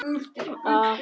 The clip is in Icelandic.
Hún vildi verða hans.